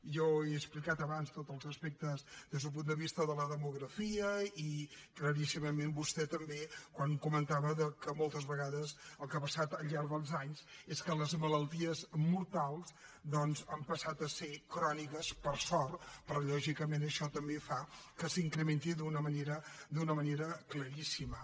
jo he explicat abans tots els aspectes des d’un punt de vista de la demografia i claríssimament vostè també quan comentava que moltes vegades el que ha passat al llarg dels anys és que les malalties mortals doncs han passat a ser cròniques per sort però lògicament això també fa que s’incrementi d’una manera claríssima